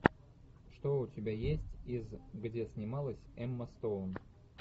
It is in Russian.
что у тебя есть из где снималась эмма стоун